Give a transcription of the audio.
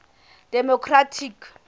democratic